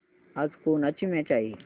आज कोणाची मॅच आहे